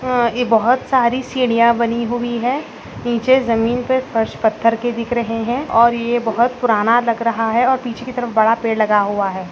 आ यह बहुत सारी सीडिया बनी हुई है नीछे जमीन पे पर्श पत्थर के दिख रहे है और ये बहुत पुराना लग रहा है और पीछे की तरफ बड़ा पीडी लगा हुआ है।